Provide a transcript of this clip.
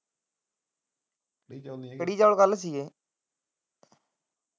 ਕੜੀ ਚਾਲ ਨਹੀਂ ਸੀ ਗਏ ਕੜੀ ਚਾਲ ਕੱਲ ਸੀ ਗਏ।